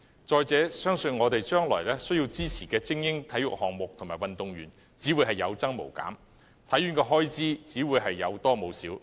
況且，我們未來需要支持的精英體育項目及運動員相信只會有增無減，香港體育學院的開支只會有多無少。